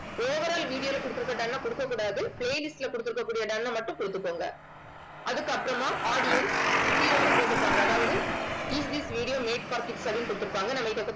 overall video கொடுத்திருக்கிற done அ கொடுக்கக் கூடாது. playlist ல done அ மட்டும் கொடுத்துக்கோங்க அதுக்கு அப்புறமா audience கீழே வந்து போட்டுருப்பாங்க அதாவது is this video made for kids அப்படின்னு கொடுத்திருப்பாங்க நம்ம